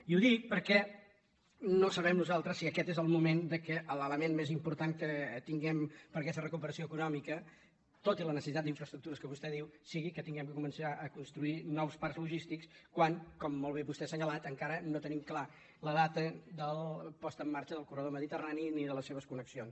i ho dic perquè no sabem nosaltres si aquest és el moment que l’element més important que tinguem per a aquesta recuperació econòmica tot i la necessitat d’infraestructures que vostè diu sigui que hàgim de començar a construir nous parcs logístics quan com molt bé vostè ha assenyalat encara no tenim clara la data de la posada en marxa del corredor mediterrani ni de les seves connexions